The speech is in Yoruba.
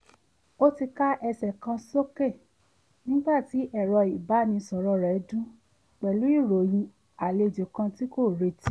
ó ti ká ẹsẹ̀ kan sókè nígbà tí ẹ̀rọ ìbánisọ̀rọ̀ rẹ̀ dún pẹ̀lú ìròyìn àlejò kan tí kò retí